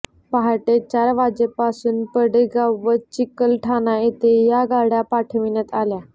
पहाटे चार वाजेपासून पडेगाव व चिकलठाणा येथे या गाड्या पाठविण्यात आल्या